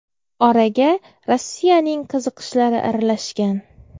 Oraga Rossiyaning qiziqishlari aralashgan.